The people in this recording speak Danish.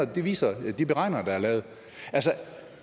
det viser de beregninger der er lavet altså